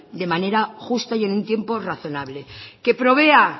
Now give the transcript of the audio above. de manera justa y en un tiempo razonable que provea